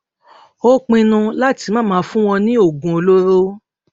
ó pinnu láti máma fún wọn ní oògùn olóró